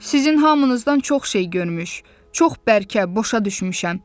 Sizin hamınızdan çox şey görmüş, çox bərkə başa düşmüşəm.